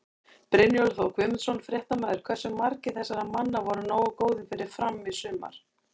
Brynjólfur Þór Guðmundsson, fréttamaður: Hversu margir þessara manna voru nógu góðir fyrir Fram í sumar?